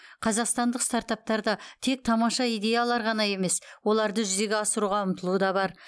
қазақстандық стартаптарда тек тамаша идеялар ғана емес оларды жүзеге асыруға ұмтылу да бар